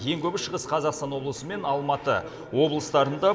ең көбі шығыс қазақстан облысы мен алматы облыстарында